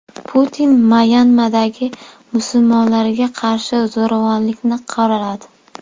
Putin Myanmadagi musulmonlarga qarshi zo‘ravonlikni qoraladi.